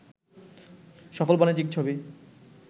সফল বাণিজ্যিক ছবি